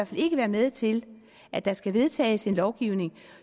fald ikke være med til at der skal vedtages en lovgivning